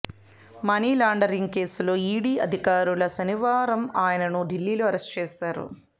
money laundering కేసులో ED అధికారులు శనివారం ఆయనను ఢిల్లీలో అరెస్ట్ చేశారు